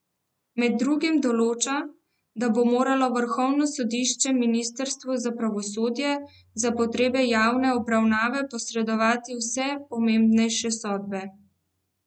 Med drugim določa, da bo moralo vrhovno sodišče ministrstvu za pravosodje za potrebe javne objave posredovati vse pomembnejše sodbe.